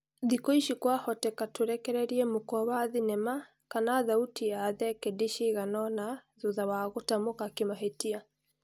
Thikũ-ici kwahoteka tũrekererie mũkwa wa thinema kana thauti ya thekedi cigana-ona thutha wa gũtamuka kĩmahĩtia.